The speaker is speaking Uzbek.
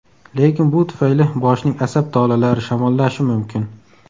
Lekin bu tufayli boshning asab tolalari shamollashi mumkin.